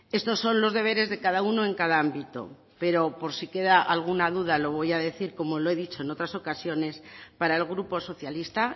estos son los deberes de cada uno en cada ámbito pero por si queda alguna duda lo voy a decir como lo he dicho en otras ocasiones para el grupo socialista